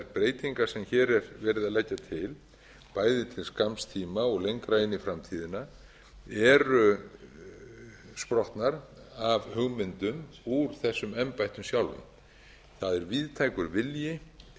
breytingar sem hér er verið að leggja til bæði til skamms tíma og lengra inn í framtíðina eru sprottnar af hugmyndum úr þessum embættum sjálfum það er víðtækur vilji innan